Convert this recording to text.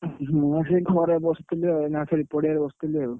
ମୁଁ ସେଇ ଘରେ ବସଥିଲି ଆଉ ଏଇନା ଆସି ଏଇ ପଡିଆ ରେ ବସଥିଲି ଆଉ।